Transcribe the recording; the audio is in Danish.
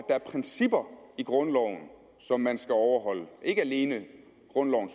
er principper i grundloven som man skal overholde ikke alene